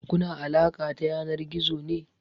Kuna alaƙa ta yanar gizo ne?